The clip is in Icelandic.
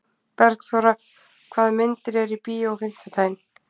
Bergþóra, hvaða myndir eru í bíó á fimmtudaginn?